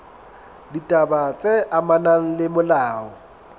ditaba tse amanang le molao